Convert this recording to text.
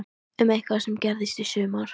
Um eitthvað sem gerðist í sumar?